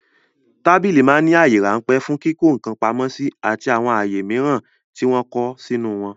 Tábìlì ma ń ní àyè ráńpẹ̀ fún kíkọ́ ǹkan pamó àti àwọn àyè mìíràn tí wọ́n kọ́ sínú wọn